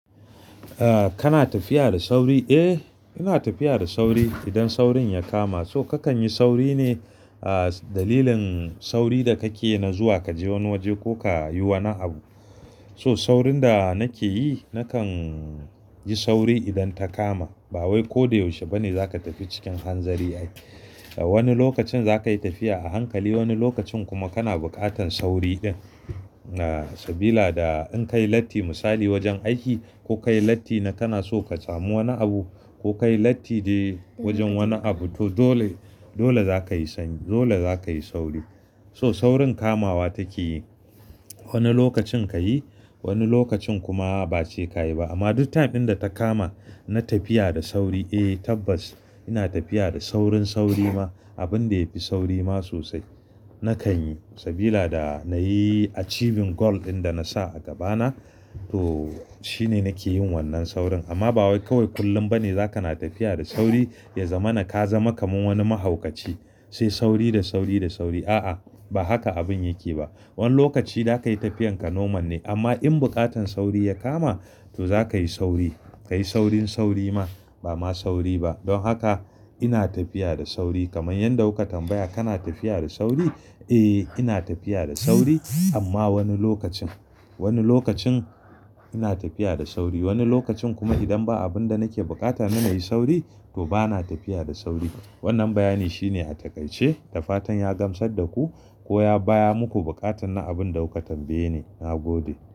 Ah, kana tafiya da sauri? Eh, ina tafiya da sauri idan saurin ya kama. To kakan yi sauri ne, a dalilin sauri da kake na zuwa kaje wani waje ko ka yi wani abu. So saurin da nake yi, nakan yi sauri idan ta kama. Ba wai ko da yaushe ba ne za ka tafi cikin hanzari ai. A wani lokacin za ka yi tafiya a hankali, wani lokacin kuma kana buƙatan sauri ɗin. Ah, sabila da in ka yi latti misali wajen aiki ko ka yi latti na kana so ka samu wani abu ko ka yi latti dai wajen wani abu to, dole za ka yi sauri. So saurin kamawa take yi. Wani lokacin ka yi, wani lokacin kuma ba sai ka yi ba. Amma duk time in da ta kama na tafiya da sauri, eh tabbas ina tafiya da saurin sauri ma. Abin da ya fi sauri ma sosai nakan yi sabila da na yi achieving goal ɗin da na sa a gaba na to, shine nake yin wannan saurin. Amma ba wai kawai kullum ba ne za ka na tafiya da sauri, ya zama na ka zama kaman wani mahaukaci. Sai sauri da sauri da sauri. A'a, ba haka abin yake ba. Wani lokaci za ka yi tafiyan ka normal ne amma in buƙatan sauri ya kama to za ka yi sauri. Ka yi saurin sauri ma, ba ma sauri ba. Don haka ina tafiya da sauri kamar yanda kuka tambaya kana tafiya da sauri? Eh, ina tafiya da sauri amma wani lokacin. Wani lokacin ina tafiya da sauri, wani lokacin kuma idan ba abin da nake buƙata na na yi sauri to bana tafiya da sauri. Wannan bayani shine a taƙaice. Da fatan ya gamsar da ku ko ya biya muku buƙatan na abin da kuka tambaye ni. Na gode.